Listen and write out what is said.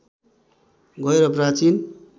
गएर प्राचीन